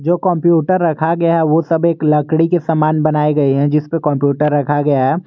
जो कंप्यूटर रखा गया है वो सब एक लकड़ी के सामान बनाए गए हैं जिस पे कंप्यूटर रखा गया है।